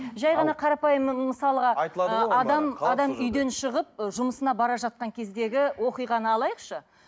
жай ғана қарапайым мысалға ы адам үйден шығып жұмысына бара жатқан кездегі оқиғаны алайықшы